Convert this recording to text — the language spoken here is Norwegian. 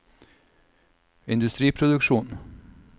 industriproduksjon